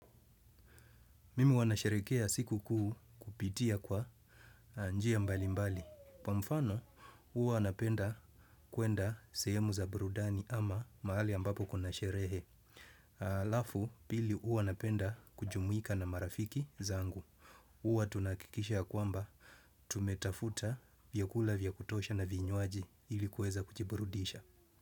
Mimi huwa nasherekea siku kuu kupitia kwa njia mbali mbali. Kwa mfano, huwa napenda kuenda sehemu za burudani ama mahali ambapo kuna sherehe. Alafu, pili huwa napenda kujumuika na marafiki zangu. Huwa tunahakikisha yakwamba tumetafuta vyakula vyakutosha na vinywaji ilikuweza kujiburudisha.